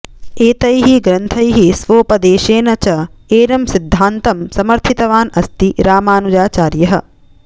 एतैः ग्रन्थैः स्वोपदेशेन च एनं सिद्धानतं समर्थितवान् अस्ति रामानुजाचार्यः